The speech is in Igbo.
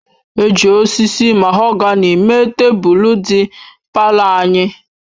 E ji osisi mahogani mee tebụl dị palọ anyị.